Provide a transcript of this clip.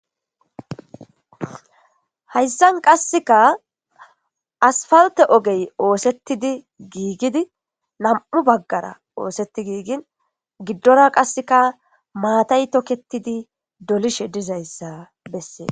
Hayssan qasseka asfawete ogey oosettidi giigidi lam'u baggara oosetti giigin giddora qasseka maatay tokketidi dolishe dizayssa bessee.